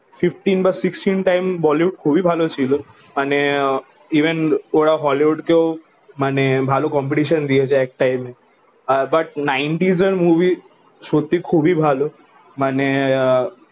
fifteen বা sixteen time Bollywood খুবই ভালো ছিল মনে আহ ইভেন োর হলিউড কেও ভালো কম্পেটেটোন দিয়েছে এক টাইম এ বাট নাইন্টিজ এর মুভি সত্য খুবই ভালো মানে আহ